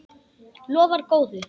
Lofar góðu!